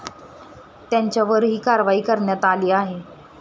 त्यांच्यावरही कारवाई करण्यात आली आहे.